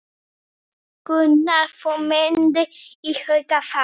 Gunnar: Þú myndir íhuga það?